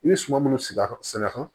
I bɛ suman minnu sigi sɛnɛ kɔnɔ